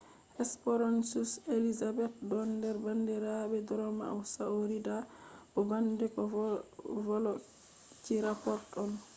hesperonychus elizabethae don nder bandirabe dromaeosauridae bo bandiko velociraptor on